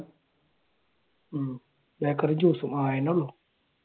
ബേക്കറിയും juice ഉം